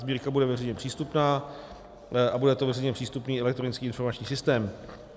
Sbírka bude veřejně přístupná a bude to veřejně přístupný elektronický informační systém.